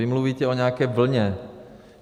Vy mluvíte o nějaké vlně.